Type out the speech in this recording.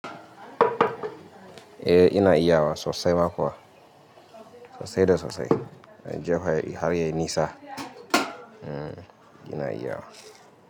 Eh ina iya wa sosai ma kuwa, sosai da sosai. Jiya har yayi nisa. Ina iyawa.